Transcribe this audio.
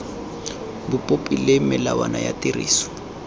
dipopi le melawana ya tiriso